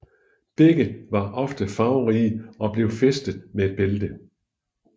Begge var ofte farverige og blev fæstet med et bælte